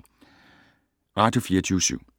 Radio24syv